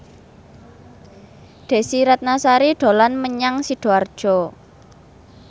Desy Ratnasari dolan menyang Sidoarjo